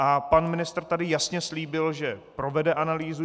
A pan ministr tady jasně slíbil, že provede analýzu.